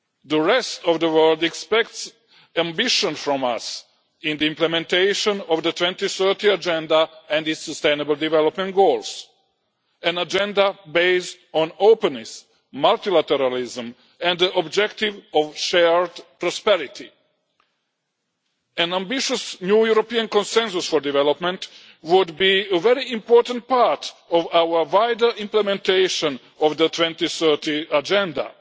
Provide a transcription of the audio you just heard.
The rest of the world expects ambition from us in the implementation of the 2030 Agenda and its sustainable development goals an Agenda based on openness, multilateralism and the objective of shared prosperity. An ambitious new European Consensus on Development would be a very important part of our wider implementation of the 2030 Agenda.